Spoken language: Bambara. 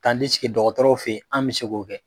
Tandisike dɔgɔtɔrɔw feyen an bi se k'o kɛ